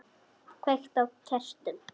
Kveiki á kertum.